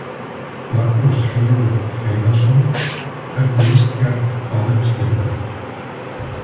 Magnús Hlynur Hreiðarsson: Hvernig líst þér á uppskeruna?